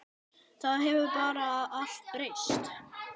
Það hefur bara allt breyst.